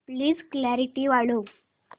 please clarity वाढव